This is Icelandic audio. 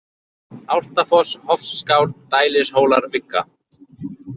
Álftafoss, Hofsskál, Dælishólar, Vigga